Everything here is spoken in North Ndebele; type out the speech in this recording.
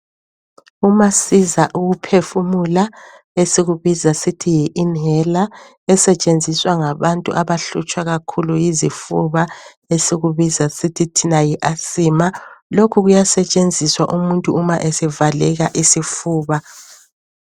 Umasiza ukuphefumula esikubiza sithi yi"inhaler" esetshenziswa ngabantu abahlutshwa kakhulu yizifuba esikubiza sithi thina yi "Asthma" lokhu kuyasetshenziswa umuntu uma esevaleka isifuba.